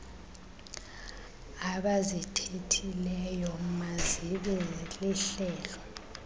abazithethileyo mazibe lihlebo